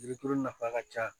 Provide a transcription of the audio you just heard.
Yiri turu nafa ka ca